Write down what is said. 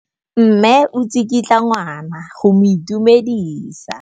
Mme o tsikitla ngwana go mo itumedisa.